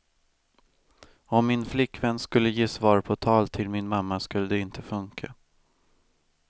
Om min flickvän skulle ge svar på tal till min mamma skulle det inte funka.